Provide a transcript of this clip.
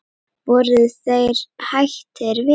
Voru þeir hættir við?